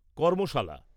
কর্মশালা